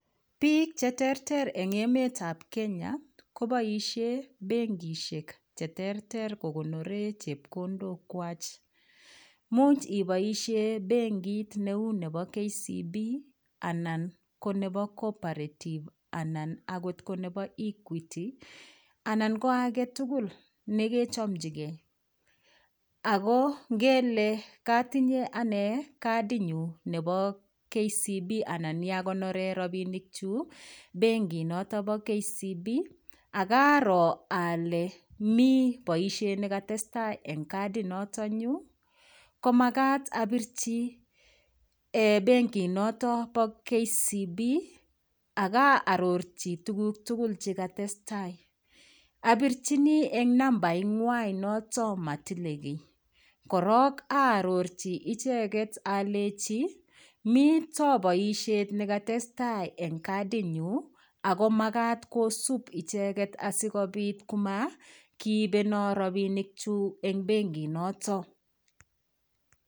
Biik cheterter eng' emetab Kenya koboishe benkishek cheterter kokonore chepkondok wach muuch iboishe benkit neu nebo KCB anan konebo Cooperative anan akot konebo Equity anan ko agetugul nekechomchigei ako ngele katinye ane kadinyu nebo KCB anan yakonore rapinik chu benkinoto bo kcb akaro ale mi boishet nekotestai eng' kadinoto nyu komakat apirchi benkinoto bo KCB akaarorchi tukuk tugul chekatestai apirchini eng' nambaing'wai noto matilin kii korok aarorchi icheget alechi mito boishet nekotestai eng' kadinyu ako makat kosup icheget asikobit komakiipeno ropinikchu eng' benkinoto